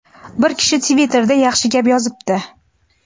Bir kishi Twitterda yaxshi gap yozibdi:.